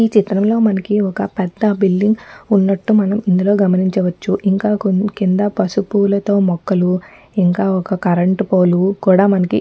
ఈ చిత్రంలో మనకి ఒక్క పెద్ద బిల్డింగ్ ఉన్నటు మనం ఇందులో గమనించవచ్చుఇంకా కింద పసుపూలతో మొక్కలు ఇంకా ఒక్క కరెంటు పోల్ కూడా మనకి --.